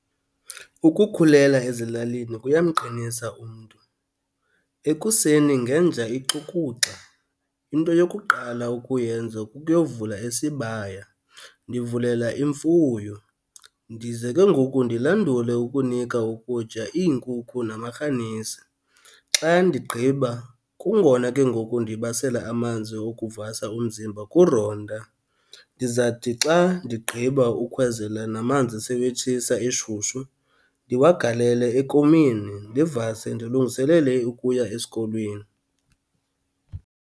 Ukukhulela ezilalini kuyamqinisa umntu. Ekuseni ngenja ixukuxa into yokuqala ukuyenza kukuyovula isibaya, ndivulela imfuyo, ndize kengoku ndilandule ukunika ukutya iinkukhu namarhanisi. Xa ndigqiba kungona ke ngoku ndibasela amanzi okuvasa umzimba kuronta. Ndizawuthi xa ndigqiba ukhwezela namanzi sewetshisa eshushu ndiwagalele ekomini, ndivase ndilungiselele ukuya esikolweni.